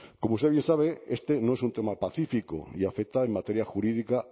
como usted bien sabe este no es un tema pacífico y afecta en materia jurídica